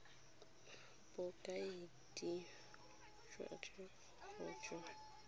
bokaedi jwa dingongorego jo bo